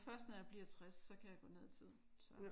Først når jeg bliver 60. Så kan jeg gå ned i tid så